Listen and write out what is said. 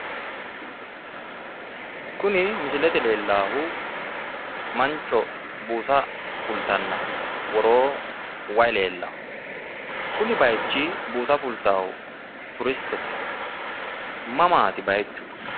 Kuni misilete lellaahu mancho buusa fultanna woroo wayi lellawo, kuni baayiichi buusa fultaahu turistete mamaati baayiichu?